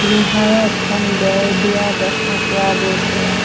লোহাৰৰ এখন বেৰ দিয়া দেখা পোৱা গৈছে।